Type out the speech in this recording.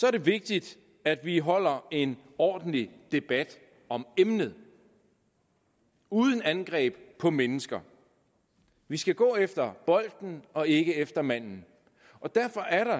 er det vigtigt at vi holder en ordentlig debat om emnet uden angreb på mennesker vi skal gå efter bolden og ikke efter manden derfor er der